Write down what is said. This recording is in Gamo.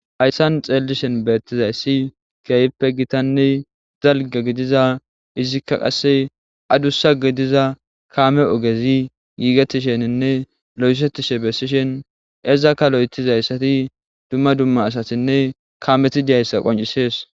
Hayssan xeellishen beettizayssi keyayippe gitanne zalga gidiza izikka qasse adussa gidiza kaame ogezi giigetisheninne lo'esettishe bessishen ezakka lo'etizayssati dumma dumma asatinne kaameti diyayssa qoncisees.